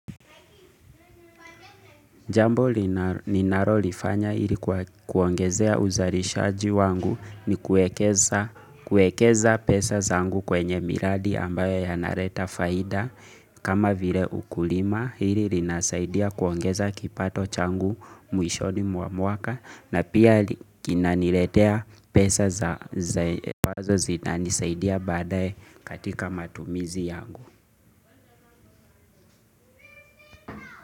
Jambo ninalolifanya ili kuongezea uzalishaji wangu ni kuekeza pesa zangu kwenye miradi ambayo yanaleta faida kama vile ukulima hili linasaidia kuongeza kipato changu mwishoni mwa mwaka na pia kina niletea pesa za wazo zinanisaidia badaye katika matumizi yangu.